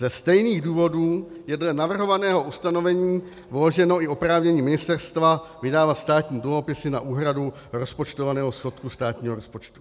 "Ze stejných důvodů je dle navrhovaného ustanovení vloženo i oprávnění ministerstva vydávat státní dluhopisy na úhradu rozpočtovaného schodku státního rozpočtu.